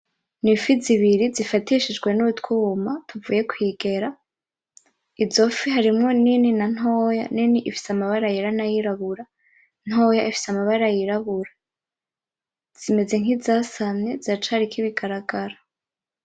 N'ifi zibiri zifatishijwe n'utwumwa tuvuye kwigera, izo fi harimwo nini na ntoya, nini ifise amabara yera na yirabura, ntoya ifise amabara yirabura. Zimeze nk'izasamye ziracariko ibigaragara.